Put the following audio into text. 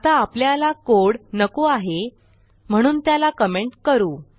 आता आपल्याला कोड नको आहे म्हणून त्याला कमेंट करू